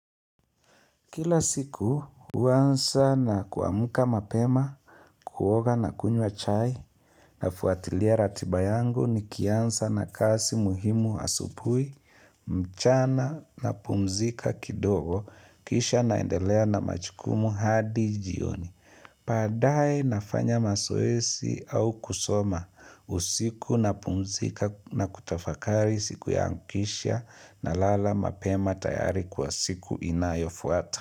Kila siku, uanza na kuamuka mapema, kuoga na kunywa chai, nafuatilia ratiba yangu nikianza na kazi muhimu asubuhi, mchana napumzika kidogo, kisha naendelea na majukumu hadi jioni. Baadaye nafanya mazoezi au kusoma usiku napumzika nakutafakari siku yangu kisha nalala mapema tayari kwa siku inayofuata.